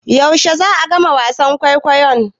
Yaushe za'a gama wasan kwaikwayon?